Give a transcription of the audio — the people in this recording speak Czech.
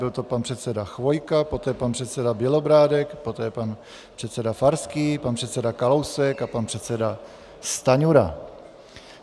Byl to pan předseda Chvojka, poté pan předseda Bělobrádek, poté pan předseda Farský, pan předseda Kalousek a pan předseda Stanjura.